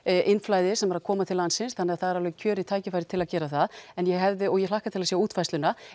innflæði sem er að koma til landsins þannig að það er alveg kjörið tækifæri til að gera það en ég hefði og ég hlakka til að sjá útfærsluna